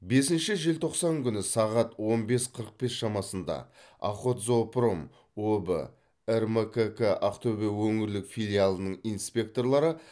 бесінші желтоқсан күні сағат он бес қырық бес шамасында охотзоопром өб рмкк ақтөбе өңірлік филиалының инспекторлары